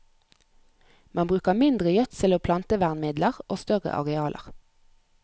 Man bruker mindre gjødsel og plantevernmidler og større arealer.